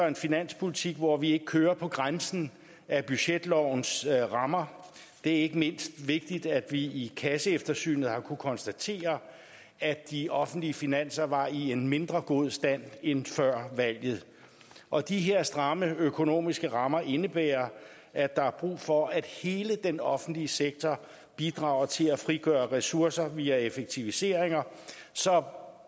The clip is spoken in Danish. en finanspolitik hvor vi ikke kører på grænsen af budgetlovens rammer det er ikke mindst vigtigt at vi i kasseeftersynet har kunnet konstatere at de offentlige finanser var i en mindre god stand end før valget og de her stramme økonomiske rammer indebærer at der er brug for at hele den offentlige sektor bidrager til at frigøre ressourcer via effektiviseringer som